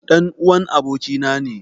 Ɗan'uwan abokina ne.